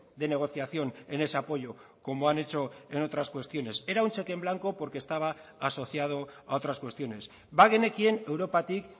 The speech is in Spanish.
de negociación en ese apoyo como han hecho en otras cuestiones era un cheque en blanco porque estaba asociado a otras cuestiones bagenekien europatik